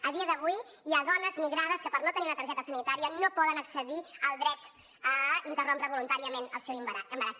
a dia d’avui hi ha dones migrades que per no tenir una targeta sanitària no poden accedir al dret a interrompre voluntàriament el seu embaràs